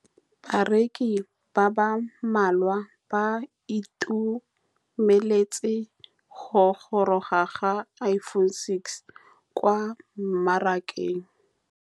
Bareki ba ba malwa ba ituemeletse go gôrôga ga Iphone6 kwa mmarakeng.